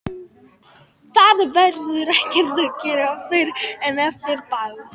Það verður ekkert að gera fyrr en eftir ball.